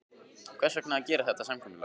Hvers vegna að gera þetta samkomulag?